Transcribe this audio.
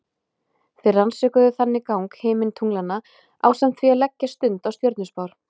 Þeir rannsökuðu þannig gang himintunglanna ásamt því að leggja stund á stjörnuspár.